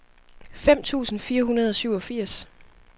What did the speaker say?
fem tusind fire hundrede og syvogfirs